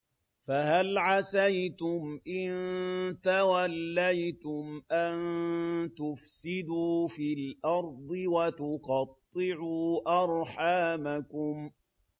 فَهَلْ عَسَيْتُمْ إِن تَوَلَّيْتُمْ أَن تُفْسِدُوا فِي الْأَرْضِ وَتُقَطِّعُوا أَرْحَامَكُمْ